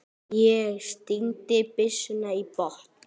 Ég stíg byssuna í botn.